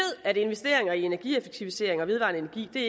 at investere i energieffektiviseringer og vedvarende energi vi